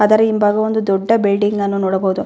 ಅದರ ಹಿಂಭಾಗ ಒಂದು ದೊಡ್ಡ ಬಿಲ್ಡಿಂಗ್ಗನ್ನು ನೋಡಬಹುದು.